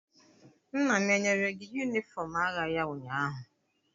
Nna m enyere gị yunifọm agha ya ụnyaahụ?